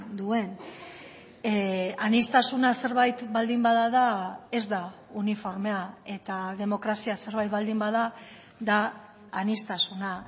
duen aniztasuna zerbait baldin bada da ez da uniformea eta demokrazia zerbait baldin bada da aniztasuna